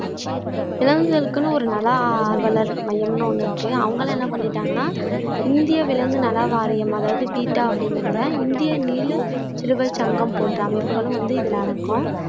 விலங்குகளுக்குன்னு ஒரு நல ஆர்வலர் மையம்ன்னு ஒண்ணு இருக்கு அவங்களும் என்ன பண்ணிட்டாங்கன்னா இந்திய விலங்கு நல வாரியம் அதாவது பீட்டா அப்படிங்கறதுல இந்திய நீல சிறுவை சங்கம் போன்ற அமைப்புகளும் வந்து இதுல அடங்கும்